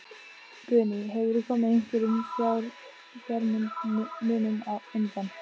Guðný: Hefurðu komið einhverjum fjármunum undan?